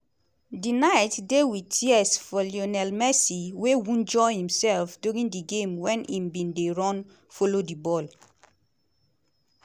di night dey wit tears for lionel messi wey wunjure imsef during di game wen im bin dey run follow di ball.